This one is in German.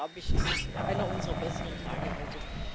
Von daher, glaube ich, ist dies einer unserer besseren Tage heute.